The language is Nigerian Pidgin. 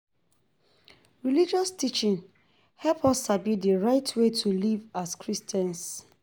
Religious teachings help us sabi di right way to live as Christians.